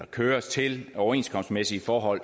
køres til overenskomstmæssige forhold